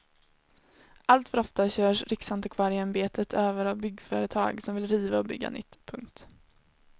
Alltför ofta körs riksantikvarieämbetet över av byggföretag som vill riva och bygga nytt. punkt